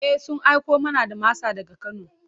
E, sun aiko mana da masa daga Kano.